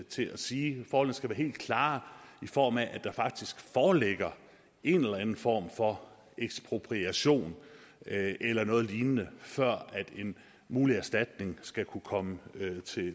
til at sige forholdene skal være helt klare i form af at der faktisk foreligger en eller anden form for ekspropriation eller noget lignende før en mulig erstatning skal kunne komme